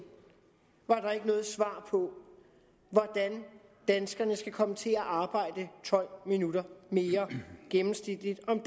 var der ikke noget svar på hvordan danskerne skal komme til at arbejde tolv minutter mere gennemsnitligt om